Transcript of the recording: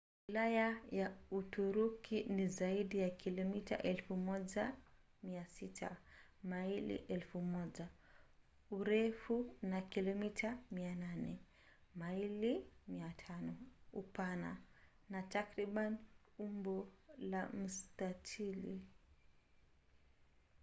wilaya ya uturuki ni zaidi ya kilomita 1,600 maili 1,000 urefu na kilomita 800 maili 500 upana na takriban umbo la mstatili